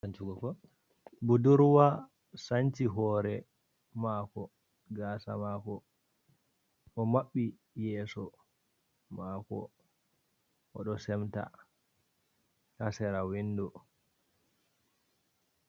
Budurwa sanci hore mako gasa mako, omaɓɓi yeso mako oɗo semta ha sera windo.